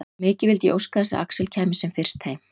Mikið vildi ég óska þess að Axel kæmi sem fyrst heim.